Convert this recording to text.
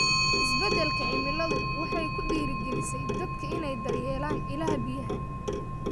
Isbeddelka cimiladu waxay ku dhiirigelisay dadka inay daryeelaan ilaha biyaha.